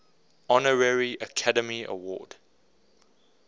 honorary academy award